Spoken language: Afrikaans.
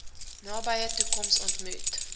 nabye toekoms ontmoet